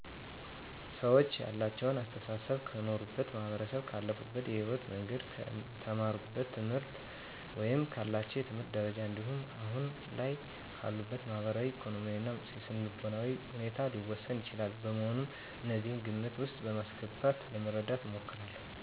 ሰወች ያላቸው አሰተሳሰብ ከኖሩበት ማህበረሰብ፣ ካለፉበት የህይወት መንገድ፣ ከተማሩት ትምህርት ወይም ካላቸው የትምህርት ደረጃ እንዲሁም አሁን ላይ ካሉበት ማህበራዊ፣ ኢኮኖሚያዊ እና የስነልቦና ሁኔታ ሊወሰን ይችላል። በመሆኑም እነዚህን ግምት ውስጥ በማስገባት ለመረዳት እሞክራለሁ።